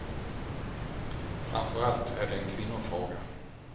Framför allt är det en kvinnofråga.